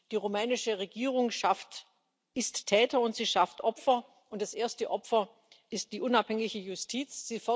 Die rumänische Regierung ist Täter, und sie schafft Opfer, und das erste Opfer ist die unabhängige Justiz.